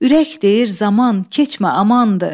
Ürək deyir zaman, keçmə amandır.